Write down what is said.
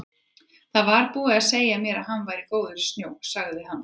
Það var búið að segja mér að hann væri góður í snjó, sagði hann.